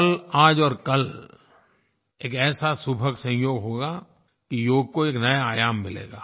कल आज और कल एक ऐसा सुभग संयोग होगा कि योग को एक नया आयाम मिलेगा